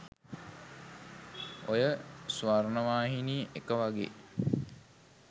ඔය ස්වර්ණවාහිනී එක වගේ